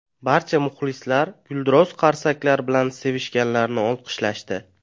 Barcha muxlislar gulduros qarsaklar bilan sevishganlarni olqishlashdi.